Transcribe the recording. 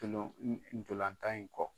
ntolan tan in kɔ.